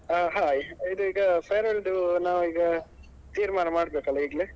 ಹ hai ಇದು ಈಗ farewell ದು ನಾವ್ ಈಗ ತೀರ್ಮಾನ ಮಾಡ್ಬೇಕಲ್ಲ ಈಗ್ಲೇ.